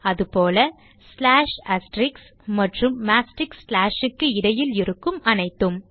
அதுபோல slash asterisks மற்றும் மாஸ்டிக் slash க்கு இடையில் இருக்கும் அனைத்தும்